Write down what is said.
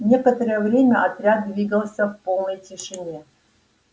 некоторое время отряд двигался в полной тишине